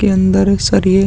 के अन्दर एक सरिये --